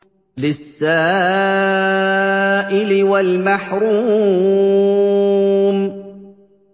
لِّلسَّائِلِ وَالْمَحْرُومِ